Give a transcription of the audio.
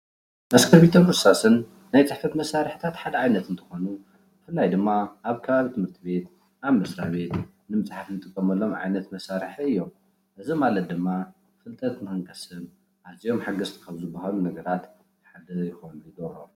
እስክሪብቶን እርሳስን ናይ ፅሕፈት መሳሪሒታት ሓደ ዓይነት እንትኾይኑ ብፍላይ ድማ ኣብ ከባቢ ትምህርቲ ቤት፣ ኣብ መስራቤት ንምፅሓፍ እንጥቀመሎም ዓይነት መሳሪሒ እዮም። እዚ ማለት ድማ ፍልጠት ንክንቀስም ኣዝዮም ሓገዝቲ ካብ ዝበሃሉ ነገራት ሓደ ክኮኑ ይገብሮም።